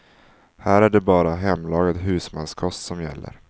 Här är det bara hemlagad husmanskost som gäller.